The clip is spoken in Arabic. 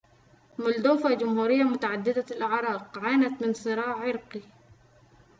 مولدوفا جمهورية متعددة الأعراق عانت من صراع عرقي